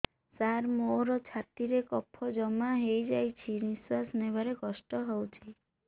ସାର ମୋର ଛାତି ରେ କଫ ଜମା ହେଇଯାଇଛି ନିଶ୍ୱାସ ନେବାରେ କଷ୍ଟ ହଉଛି